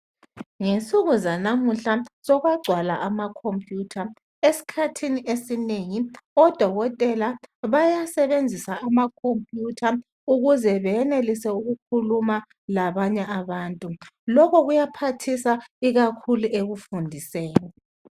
Ngensuku zalamuhla sokwagcwala ama computer, esikhathini esinengi odokotela bayasebenzisa ama computer ukuze benelise ukukhuluma labanye abantu lokhu kuyaphathisa ikakhulu ekufundiseni